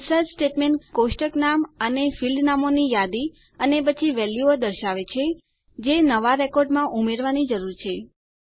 insert statement કોષ્ટક નામ અને ફીલ્ડ નામોની યાદી અને પછી વેલ્યુઓ દર્શાવે છે જે નવાં રેકોર્ડમાં ઉમેરવાની જરૂર છે